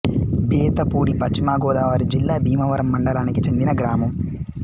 బేతపూడి పశ్చిమ గోదావరి జిల్లా భీమవరం మండలానికి చెందిన గ్రామం